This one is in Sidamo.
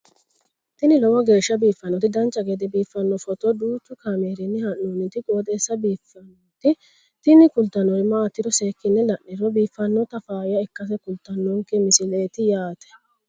tini lowo geeshsha biiffannoti dancha gede biiffanno footo danchu kaameerinni haa'noonniti qooxeessa biiffannoti tini kultannori maatiro seekkine la'niro biiffannota faayya ikkase kultannoke misileeti yaate